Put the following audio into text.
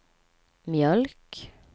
mjölk